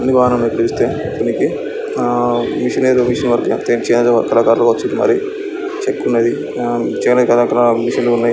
కిందటి వారంలో పిలిస్తే వినికి ఆ మిషన్ ఏదో మిషన్ వర్క్ కళాకారులు వచ్చిండ్రు మరి చెక్కున్నది చేనేత కార్లు కాడ మిషన్లు ఉన్నాయి --